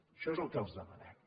això és el que els demanem